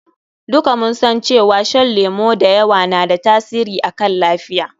Duka mun san cewa shan lemu da yawa na da tasiri akan lafiya.